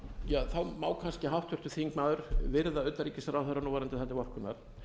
um einkavæðinguna má kannski háttvirtur þingmaður viðra utanríkisráðherra núverandi það til vorkunnar